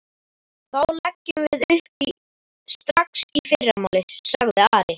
Þá leggjum við upp strax í fyrramálið, sagði Ari.